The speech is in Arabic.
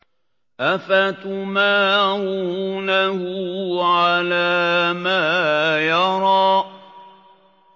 أَفَتُمَارُونَهُ عَلَىٰ مَا يَرَىٰ